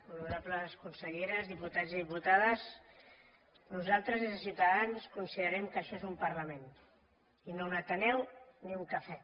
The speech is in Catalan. honorables conselleres diputats i diputades nosaltres des de ciutadans considerem que això és un parlament i no un ateneu ni un cafè